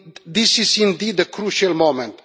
This is indeed a crucial moment.